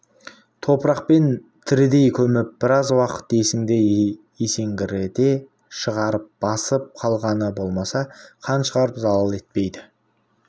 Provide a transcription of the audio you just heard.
топырақпен тірідей көміп біраз уақыт есіңді есеңгірете шығарып басып қалғаны болмаса қан шығарып залал етпейді